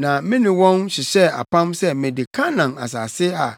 Na me ne wɔn hyehyɛɛ apam sɛ mede Kanaan asase a